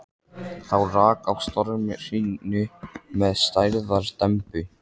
Þá rak á stormhrinu með stærðar dembu.